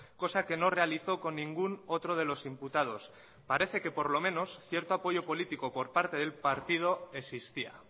cosa que no realizó con ningún otro de los imputados parece que por lo menos cierto apoyo político por parte del partido existía